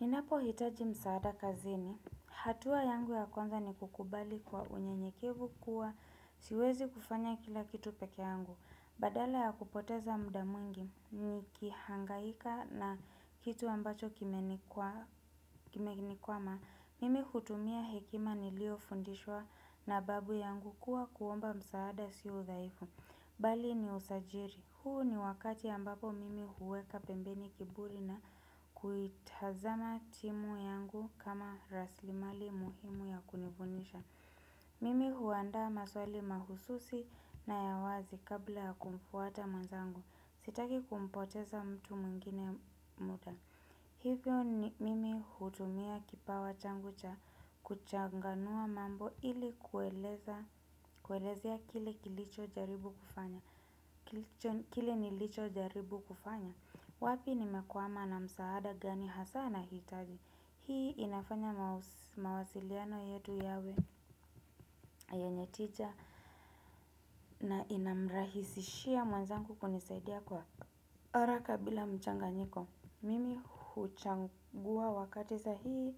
Ninapo hitaji msaada kazini. Hatua yangu ya kwanza ni kukubali kwa unyenyekevu kuwa siwezi kufanya kila kitu peke yangu. Badala ya kupoteza muda mwingi ni kihangaika na kitu ambacho kime nikuwama. Mimi hutumia hekima niliyo fundishwa na babu yangu kuwa kuomba msaada siyo udhaifu. Bali ni usajiri. Huu ni wakati ambapo mimi huweka pembeni kiburi na kuitazama timu yangu kama raslimali muhimu ya kunivunisha. Mimi huanda maswali mahususi na ya wazi kabla ya kumfuata mwenzangu. Sitaki kumpoteza mtu mwingine muda. Hivyo mimi hutumia kipawa changu cha kuchanganua mambo ili kueleza, kuelezea kile kilichojaribu kile nilicho jaribu kufanya. Wapi nimekuama na msaada gani hasaa nahitaji. Hii inafanya mawasiliano yetu yawe yenye tija. Na inamrahisishia mwenzangu kunisaidia kwa haraka bila mchanganyiko. Mimi huchangua wakati sahihi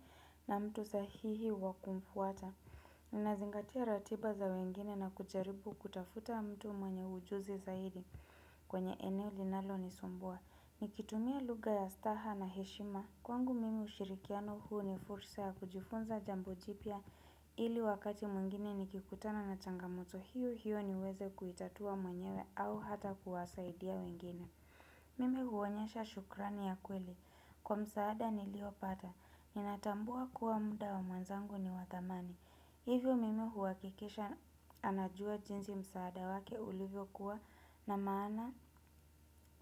na mtu sahihi wa kumfuata. Ninazingatia ratiba za wengine na kujaribu kutafuta mtu mwenye ujuzi zaidi, kwenye eneo linalonisumbua. Nikitumia lugha ya staha na heshima. Kwangu mimi ushirikiano huu ni fursa ya kujifunza jambo jipya, ili wakati mwingine nikikutana na changamoto hiyo hiyo niweze kuitatua mwenyewe au hata kuwasaidia wengine. Mimi huonyesha shukrani ya kweli. Kwa msaada niliopata. Ninatambua kuwa muda wa mwenzangu ni wa thamani. Hivyo mimi huhakikisha anajua jinsi msaada wake ulivyokuwa, na maana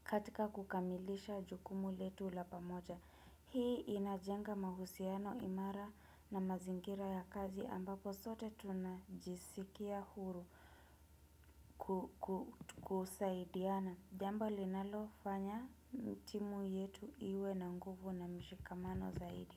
katika kukamilisha jukumu letu la pamoja. Hii inajenga mahusiano imara na mazingira ya kazi ambapo sote tunajisikia huru kusaidiana. Jambo linalofanya timu yetu iwe na nguvu na mshikamano zaidi.